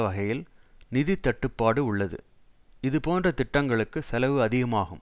வகையில் நிதித்தட்டுப்பாடு உள்ளது இது போன்ற திட்டங்களுக்கு செலவு அதிகமாகும்